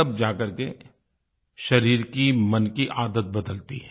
तब जाकर के शरीर की मन की आदत बदलती है